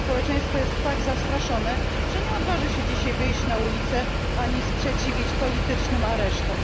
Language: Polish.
To społeczeństwo jest tak zastraszone, że nie odważy się dzisiaj wyjść na ulice ani sprzeciwić politycznym aresztom.